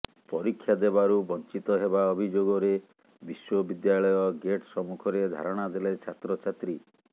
ପରୀକ୍ଷାଦେବାରୁ ବଞ୍ଚିତ ହେବା ଅଭିଯୋଗରେ ବିଶ୍ବବିଦ୍ୟାଳୟ ଗେଟ୍ ସମ୍ମୁଖରେ ଧାରଣା ଦେଲେ ଛାତ୍ରଛାତ୍ରୀ